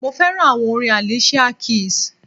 Mo fẹ́ràn àwọn orin Alicia Keys.